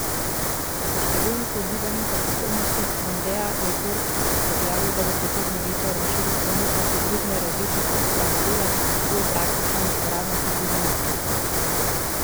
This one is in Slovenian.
Po številnih ugibanjih o prihodnosti mondea je Ford objavil, da bo prihodnje leto razširil ponudbo hibridne različice tega modela z bolj praktično in uporabno hibridno izvedbo.